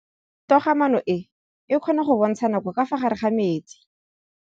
Toga-maanô e, e kgona go bontsha nakô ka fa gare ga metsi.